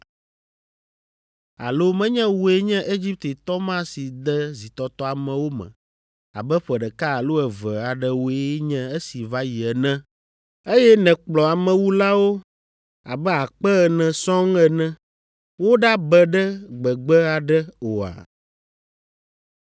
Alo menye wòe nye Egiptetɔ ma si de zitɔtɔ amewo me abe ƒe ɖeka alo eve aɖewoe nye esi va yi ene, eye nèkplɔ amewulawo abe akpe ene sɔŋ ene woɖabe ɖe gbegbe aɖe oa?”